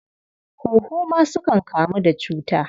Huhu ma sukan kamu da cuta.